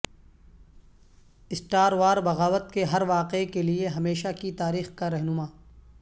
star war بغاوت کے ہر واقعے کے لئے ہمیشہ کی تاریخ کا رہنما